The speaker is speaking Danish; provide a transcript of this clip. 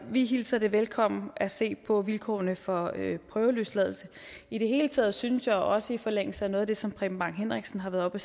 vi hilser det velkommen at se på vilkårene for prøveløsladelse i det hele taget synes jeg også i forlængelse af noget af det som preben bang henriksen har været oppe